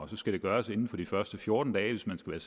skal det gøres inden for de første fjorten dage hvis man skal